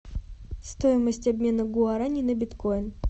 стоимость обмена гуарани на биткоин